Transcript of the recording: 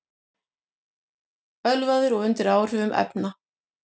Ölvaður og undir áhrifum efna